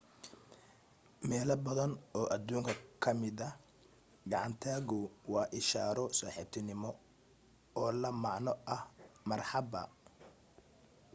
meelo badan oo adduunka ka mida gacan taagu waa ishaaro saaxiibtinimo oo la macno ah marxabba